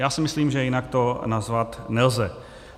Já si myslím, že jinak to nazvat nelze.